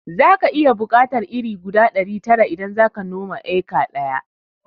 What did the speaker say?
Zaka iya buƙatar iri guda ɗari tara idan zaka noma eka ɗaya